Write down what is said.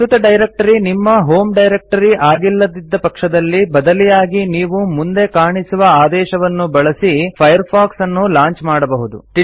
ಪ್ರಸ್ತುತ ಡೈರೆಕ್ಟರಿ ನಿಮ್ಮ home directory ಆಗಿಲ್ಲದಿದ್ದ ಪಕ್ಷದಲ್ಲಿ ಬದಲಿಯಾಗಿ ನೀವು ಮುಂದೆಕಾಣಿಸುವ ಆದೇಶವನ್ನು ಬಳಸಿ ಫೈರ್ಫಾಕ್ಸ್ ನ್ನು ಲಾಂಚ್ ಮಾಡಬಹದು